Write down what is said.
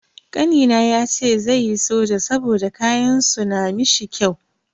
Kanina yace zai yi soja saboda kayan su na mishi kyau.